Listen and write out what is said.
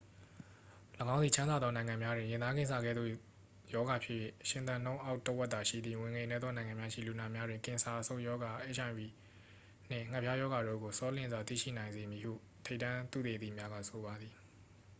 ၎င်းသည် ချမ်းသာသော နိုင်ငံများတွင် ရင်သားကင်ဆာ ကဲ့သို့ ရောဂါဖြစ်၍ ရှင်သန်နှုန်းအောက် တစ်ဝက်သာရှိသည့် ဝင်ငွေနည်းသော နိုင်ငံများရှိ လူနာများတွင် ကင်ဆာ အဆုတ်ရောဂါ အိတ်အိုင်ဗွီနှင့် ငှက်ဖျားရောဂါတို့ကို ဆောလျင်စွာ သိရှိနိုင်စေမည်ဟု ထိပ်တန်းသုတေသီများက ဆိုပါသည်